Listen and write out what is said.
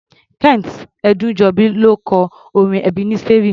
Kent Ẹdúnjọbí ló kọ orin Ẹbeneseri.